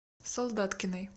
солдаткиной